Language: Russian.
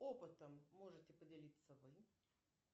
опытом можете поделиться вы